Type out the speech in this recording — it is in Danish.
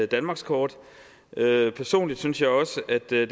danmarkskort personligt synes jeg også at det